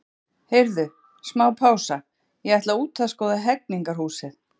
Heyrðu, smá pása, ég ætla út að skoða Hegningarhúsið.